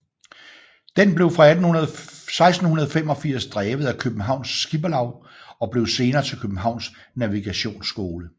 Den blev fra 1685 drevet af Københavns Skipperlav og blev senere til Københavns Navigationsskole